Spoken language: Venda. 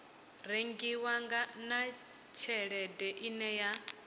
rengiwa na tshelede ine ya